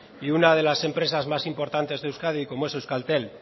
y una de las empresas más importantes de euskadi como es euskaltel